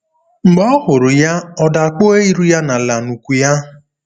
Mb͕e ọ huru ya, ọ da kpue iru-ya n'ala n'ukwu-ya.